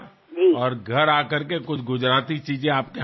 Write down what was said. మీ ఇంటికి వచ్చి మీ చేతులతో చేసిన కొన్ని గుజరాతీ వంటకాలు తింటాను